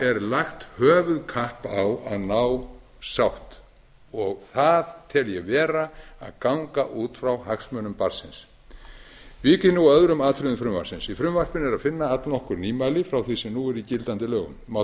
er lagt höfuðkapp á að ná sátt og það tel ég vera að ganga út frá hagsmunum barnsins vík ég nú að öðrum atriðum frumvarpsins í frumvarpinu er að finna allnokkur nýmæli frá því sem nú er í gildandi lögum má þar